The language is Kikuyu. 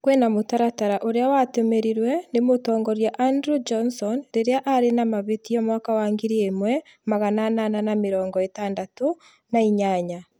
Kwĩna mũtaratara ũria watĩmirirwe nĩ mũtongoria Andrew Johnson rĩrĩa arĩ na mahĩtia mwaka wa ngiri ĩmwe magana anana ma mĩrongo ĩtandatũ na inyanya